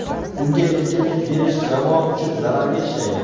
Unga erkinlik berish jamoa uchun zararga ishlaydi.